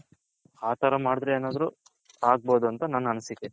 ಆ ತರ ಮಾಡದ್ರೆ ಏನಾದ್ರು ಆಗಬೋದು ಅಂತ ನನ್ನ ಅನಿಸಿಕೆ.